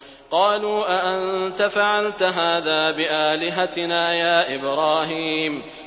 قَالُوا أَأَنتَ فَعَلْتَ هَٰذَا بِآلِهَتِنَا يَا إِبْرَاهِيمُ